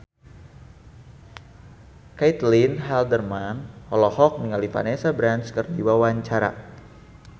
Caitlin Halderman olohok ningali Vanessa Branch keur diwawancara